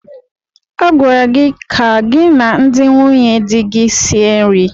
A gwara gị ka gị na ndị nwunye di gị sie nri.